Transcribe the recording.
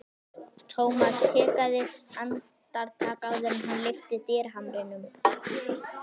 Thomas hikaði andartak áður en hann lyfti dyrahamrinum.